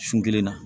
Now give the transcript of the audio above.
Sun kelen na